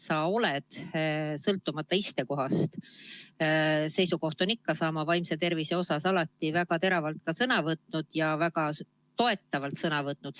Sa oled – sõltumata istekohast on su seisukoht ikka sama – vaimse tervise teemadel alati väga teravalt ja väga toetavalt sõna võtnud.